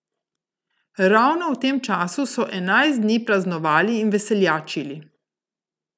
Ravno v tem času so enajst dni praznovali in veseljačili.